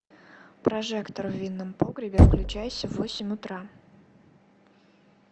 прожектор в винном погребе включайся в восемь утра